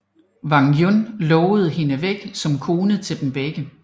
Wang Yun lovede hende væk som kone til dem begge